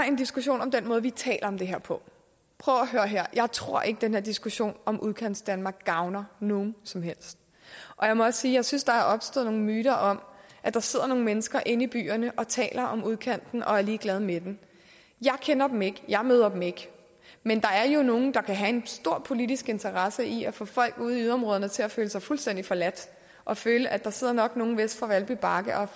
en diskussion om den måde vi taler om det her på prøv at høre her jeg tror ikke at den her diskussion om udkantsdanmark gavner nogen som helst jeg må også sige at jeg synes der er opstået nogle myter om at der sidder nogle mennesker inde i byerne og taler om udkanten og er ligeglade med dem jeg kender dem ikke jeg møder dem ikke men der er nogle der kan have en stor politisk interesse i at få folk ude i yderområderne til at føle sig fuldstændig forladte og føle at der nok sidder nogle øst for valby bakke og